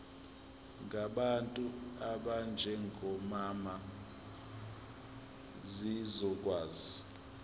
ngabantu abanjengomama zizokwazi